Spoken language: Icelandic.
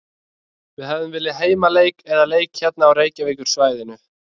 Við hefðum viljað heimaleik eða leik hérna á Reykjavíkursvæðinu.